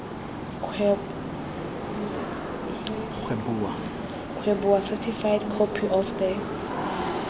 kgweboa certified copy of the